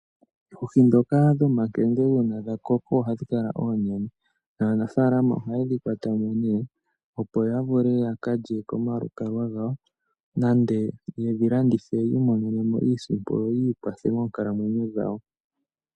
Oohi ndhoka dho makende uuna dha koko ohadhi kala oonene naanafalama oha yedhi kwata mo ne opo ya vule ya kalye komalukalwa gawo nenge yedhi landithe yi imonene mo iisimpo yo yi kwathe moonkalamwenyo dhawo.